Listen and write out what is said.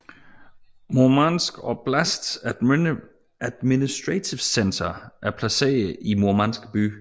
Murmansk oblasts administrative center er placeret i Murmansk by